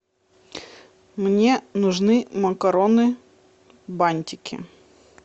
мне нужны макароны бантики